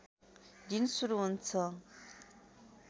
दिन सुरु हुन्छ